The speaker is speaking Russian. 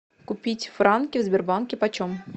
купить франки в сбербанке почем